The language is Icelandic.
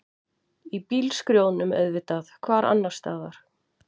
Í bílskrjóðnum auðvitað, hvar annarstaðar?